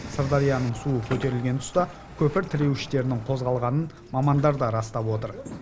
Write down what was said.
сырдарияның суы көтерілген тұста көпір тіреуіштерінің қозғалғанын мамандар да растап отыр